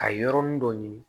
A yɔrɔnin dɔ ɲini